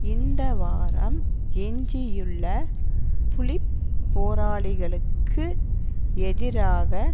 இந்த வாரம் எஞ்சியுள்ள புலி போராளிகளுக்கு எதிராக